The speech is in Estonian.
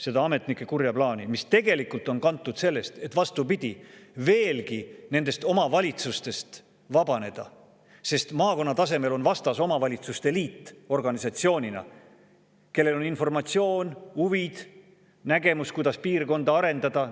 See ametnike kuri plaan on tegelikult kantud sellest, et vastupidi, veelgi nendest omavalitsustest vabaneda, sest maakonna tasemel on vastas omavalitsuste liit organisatsioonina, kellel on informatsioon, huvid, nägemus, kuidas piirkonda arendada.